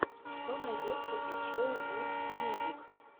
что найдется из шоу гуд мьюзик